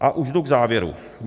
A už jdu k závěru.